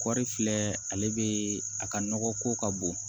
Kɔɔri filɛ ale bɛ a ka nɔgɔ ko ka bon